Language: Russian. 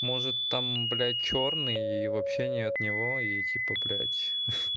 может там блять чёрные и вообще не от него и типа блять